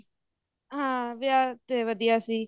ਹਮ ਵਿਆਹ ਤੇ ਵਧੀਆ ਸੀ